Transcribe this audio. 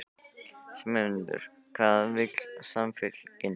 Sigmundur: Hvað vill Samfylkingin?